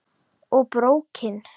Og BRÓKIN!